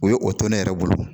O ye o to ne yɛrɛ bolo